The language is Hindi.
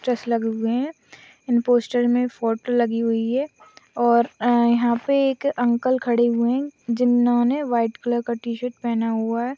इन पोस्टर में फोटो लागी हुवी है और अ अ याह पे एक अंकल खडे हुवे है जिन्होने व्हाईट कलर का टी-शर्ट पेहेना हुवा है।